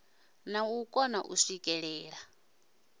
na u kona u swikelela